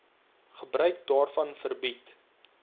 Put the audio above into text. gebruik daarvan verbied